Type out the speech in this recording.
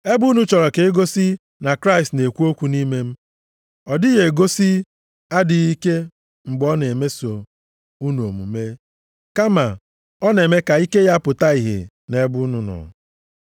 Ebe unu chọrọ ka e gosi na Kraịst na-ekwu okwu nʼime m, ọ dịghị egosi adịghị ike mgbe ọ na-emeso unu omume, kama ọ na-eme ka ike ya pụta ìhè nʼebe unu nọ.